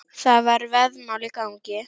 Það var veðmál í gangi.